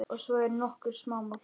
Og svo eru nokkur smámál.